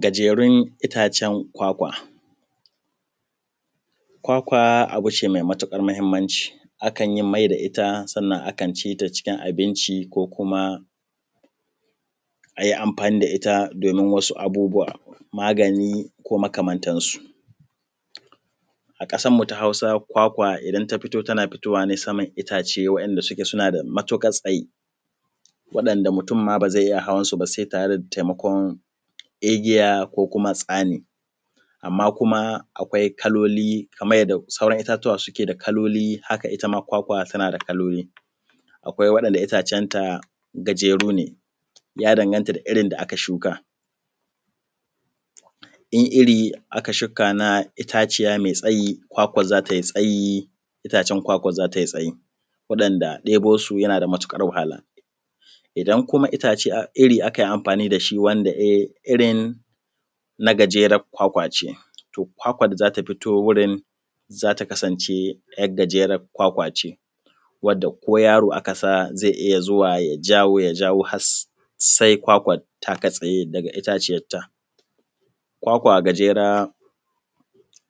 za ta yi tsayi itacen kwakwa za tai tsayi, waɗanda ɗebo su yana da matuƙar wahala, idan kuma itace, iri aka yi amfani dashi wanda e irin na gajerar kwakwa ce to kwakwan da za ta fito za ta wurin kasance ‘yar gajerar kwakwace, wadda ko yaro aka sa zai iya zuwa ya jawo, ya jawo har sai ya kwakwar ta katse daga itaciyarta. Kwakwa gajera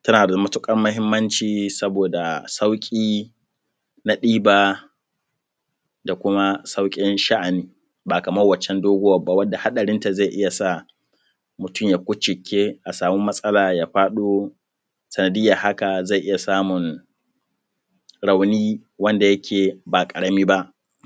tana da matukar mahimmanci saboda sauki na ɗiba da sauƙi na sha’ani ba kamar wan can doguwar ba, wadda haɗarinta zai iya sa mutum ya kucike a samu matsala ya faɗo sanadiyar haka zai iya samun rauni wanda yake ba karami ba.